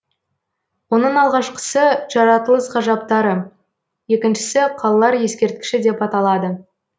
оның алғашқысы жаратылыс ғажаптары екіншісі қалалар ескерткіші деп аталады